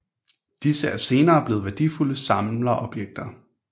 Disse er senere blevet værdifulde samlerobjekter